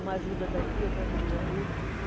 Uma ajuda daqui, outra ajuda dali.